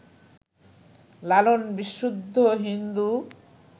লালন বিশুদ্ধ হিন্দু